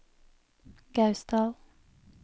Gausdal